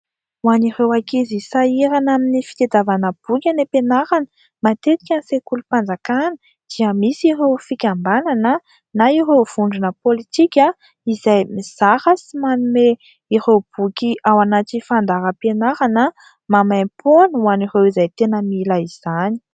Hoan'ireo ankizy sahirana amin'ny fitadiavana boky any ampianarana matetika ny sekolim-panjakana dia misy ireo fikambanana na ireo vondrona politika izay mizara sy manome ireo boky ao anaty fandaharam-pianarana maimaimpoana hoan'ireo izay tena mila izany.